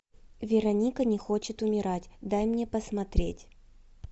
вероника не хочет умирать дай мне посмотреть